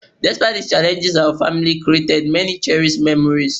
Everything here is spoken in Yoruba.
Mahopọnna avùnnukundiọsọmẹnu whẹndo tọn mítọn lẹ hẹn linlin dagbe susu wá